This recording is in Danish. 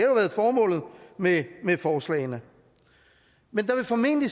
været formålet med forslagene men der vil formentlig